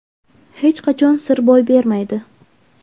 hech qachon sir boy bermaydi.